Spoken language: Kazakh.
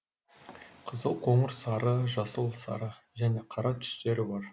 қызыл қоңыр сары жасыл сары және қара түстері бар